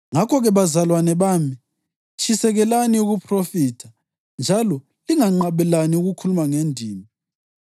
Ngakho-ke, bazalwane bami, tshisekelani ukuphrofitha njalo lingenqabeli ukukhuluma ngendimi.